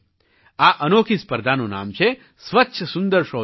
આ અનોખી સ્પર્ધાનું નામ છે સ્વચ્છ સુંદર શૌચાલય